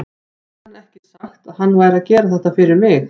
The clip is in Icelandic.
Hafði hann ekki sagt að hann væri að gera þetta fyrir mig?